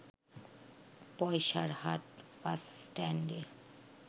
Paisarhat bus স্ট্যান্ডে